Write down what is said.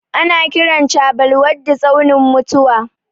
Ana kiran chabbal waddi tsaunin mutuwa.